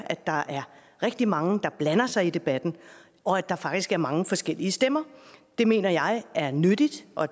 at der er rigtig mange der blander sig i debatten og at der faktisk er mange forskellige stemmer det mener jeg er nyttigt og